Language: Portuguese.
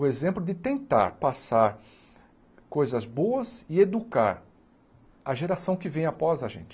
O exemplo de tentar passar coisas boas e educar a geração que vem após a gente.